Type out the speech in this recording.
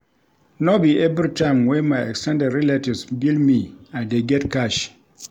No be everytime wey my ex ten ded relatives bill me I dey get cash.